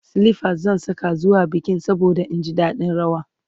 silifas zan Saka zuwa bikin saboda in ji daɗin rawa